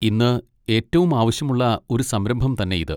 ഇന്ന് ഏറ്റവും ആവശ്യമുള്ള ഒരു സംരംഭം തന്നെ ഇത്.